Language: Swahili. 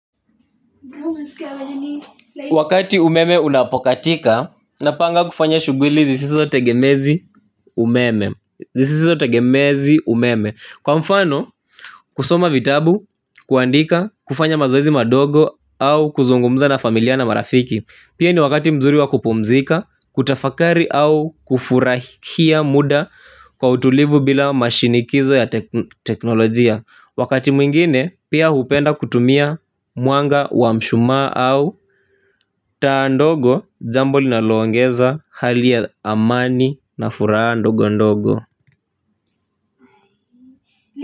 Wakati umeme unapokatika. Napanga kufanya shuguli zisizo tegemezi umeme zisiso tegemezi umeme. Kwa mfano kusoma vitabu. Kuandika kufanya mazoezi madogo au kuzungumza na familia na marafiki. Pia ni wakati mzuri wa kupumzika. Kutafakari au kufurahia muda. Kwa utulivu bila mashinikizo ya teknolojia. Wakati mwingine pia upenda kutumia mwanga wa mshuma au taa ndogo jambo linaloongeza hali ya amani na furaa ndogo ndogo.